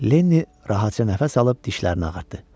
Lenni rahatca nəfəs alıb dişlərini ağartdı.